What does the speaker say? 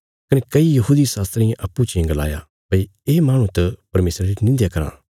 कने कई यहूदी शास्त्रियें अप्पूँ चियें गलाया भई ये माहणु त परमेशरा री निंध्या कराँ